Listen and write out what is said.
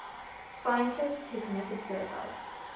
scientists who committed suicide